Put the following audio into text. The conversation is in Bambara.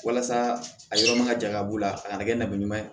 Walasa a yɔrɔ ma ka jan ka b'u la a kana kɛ nali ɲuman ye